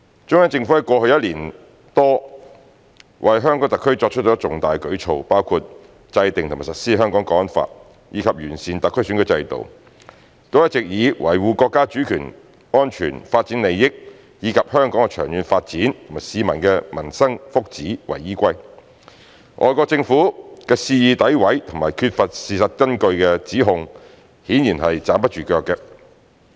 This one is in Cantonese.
中央政府過去一年多為香港特區作出的重大舉措，包括制定和實施《香港國安法》，以及完善特區選舉制度，都一直以維護國家主權、安全、發展利益，以及香港的長遠發展和市民的民生、福祉為依歸。外國政府的肆意詆毀和缺乏事實根據的指控顯然站不住腳。